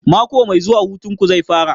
Mako mai zuwa hutun ku zai fara?